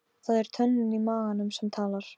Það er tönnin í maganum sem talar.